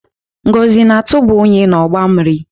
Ngozi na-atụba unyi n'ọgba mmiri?